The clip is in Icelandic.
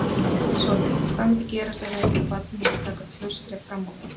Sólveig: Hvað myndi gerast ef þetta barn myndi taka tvö skref fram á við?